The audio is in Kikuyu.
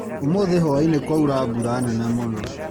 Ũmuthĩ hwainĩ kwaura mbura nene mũno.